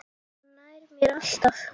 Hann nær mér alltaf!